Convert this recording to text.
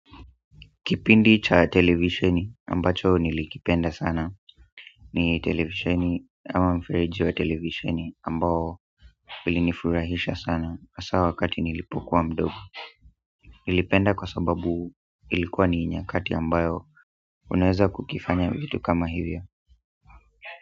Kipindi cha televisheni ambacho nilikipenda sana ni televisheni ama mferiji wa televisheni ambao ulinifurahisha sana hasa wakati nilipokuwa mdogo nilipenda kwa sababu ilikuwa ni nyakati ambayo unaweza kukifanya vitu kama hivyo.